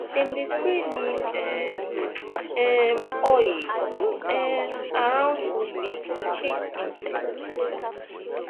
dem dey spray neem um um oil um around food bin to chase insect